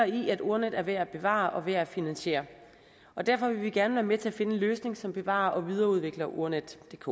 i at ordnetdk er værd at bevare og værd at finansiere og derfor vil vi gerne være med til at finde en løsning som bevarer og videreudvikler ordnetdk